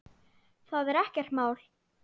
Það er ekkert mál.